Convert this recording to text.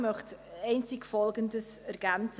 Ich möchte einzig Folgendes ergänzen: